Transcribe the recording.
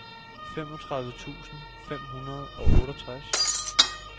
femogtredive tusind fem hundrede og otteogtres